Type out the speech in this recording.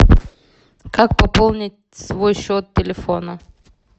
как пополнить свой счет телефона